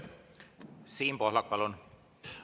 Siim Pohlak, palun!